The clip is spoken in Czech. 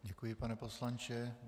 Děkuji, pane poslanče.